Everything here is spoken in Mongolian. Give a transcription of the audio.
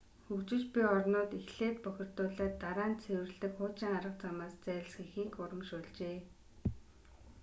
хөгжиж буй орнууд эхлээд бохирдуулаад дараа нь цэвэрлэдэг хуучин арга замаас зайлсхийхийг урамшуулжээ